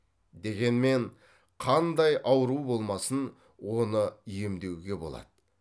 дегенмен қандай ауру болмасын оны емдеуге болады